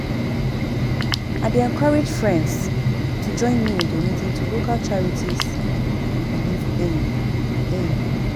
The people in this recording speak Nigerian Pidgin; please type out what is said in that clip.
I dey encourage friends to join me in donating to local charities we believe in. in.